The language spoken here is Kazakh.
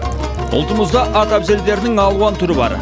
ұлтымызда ат әбзелдерінің алуан түрі бар